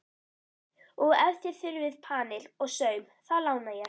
Og ef þér þurfið panil og saum, þá lána ég.